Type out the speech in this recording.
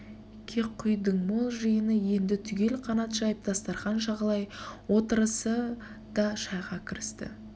кеқұйдіңмол жиыны енді түгел қанат жайып дастарқан жағалай отырысіы да шайға кірісті